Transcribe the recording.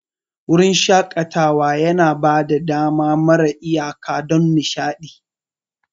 Wurin shaƙatawa yana ba da dama mara iyaka don nishaɗi.